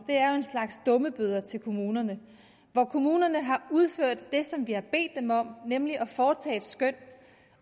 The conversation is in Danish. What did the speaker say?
er jo en slags dummebøder til kommunerne når kommunerne har udført det som vi har bedt dem om nemlig at foretage et skøn